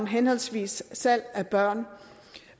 henholdsvis om salg af børn